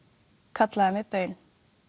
kallaði mig baun